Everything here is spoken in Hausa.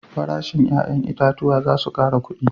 Farashin 'ya'yan itatuwa za su kara kudi